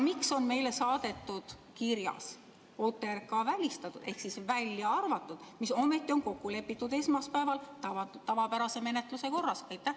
Miks on meile saadetud kirjas välistatud ehk välja arvatud OTRK, mis ometi on kokku lepitud esmaspäeval tavapärase menetluse korras?